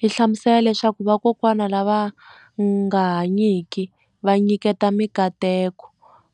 Yi hlamusela leswaku vakokwani lava nga hanyiki va nyiketa mikateko